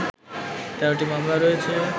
১৩টি মামলা রয়েছে